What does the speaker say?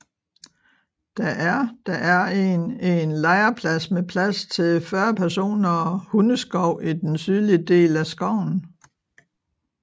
Der er Der er en en lejrplads med plads til 40 personer og hundeskov i den sydlige del af skoven